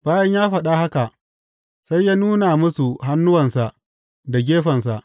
Bayan ya faɗa haka, sai ya nuna musu hannuwansa da gefensa.